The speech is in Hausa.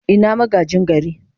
Ina magaji gari?